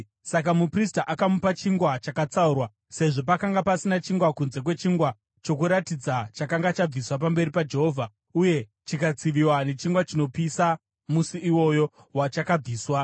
Saka muprista akamupa chingwa chakatsaurwa, sezvo pakanga pasina chingwa kunze kwechingwa choKuratidza chakanga chabviswa pamberi paJehovha uye chikatsiviwa nechingwa chinopisa musi iwoyo wachakabviswa.